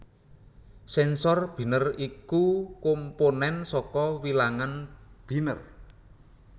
Sensor Binèr iku komponèn saka Wilangan Binèr